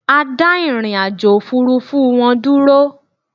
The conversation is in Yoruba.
A dà ìrìnàjò òfurufú wọn dúró